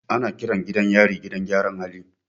Ana kiran gidan yari gidan gyaran hali.